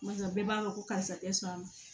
Barisa bɛɛ b'a dɔn ko karisa tɛ sɔn a ma